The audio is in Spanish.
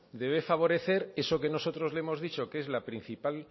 debe favorecer eso que nosotros le hemos dicho que es la principal